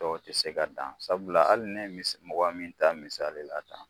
Dɔw tɛ se ka dan sabula hali ne ye mɔgɔ min taa misali la tan